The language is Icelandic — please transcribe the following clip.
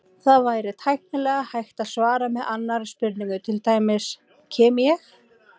Það væri tæknilega hægt að svara með annarri spurningu, til dæmis: Kem ég?